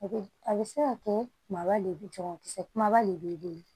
A bɛ a bɛ se ka kɛ kumaba le ye jagokisɛ kumaba de ye